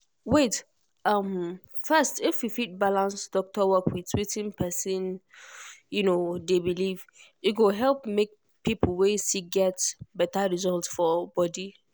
wait um first if we fit balance doctor work with wetin person um dey believe e go help make people wey sick get better result for body.